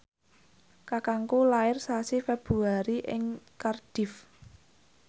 kakangku lair sasi Februari ing Cardiff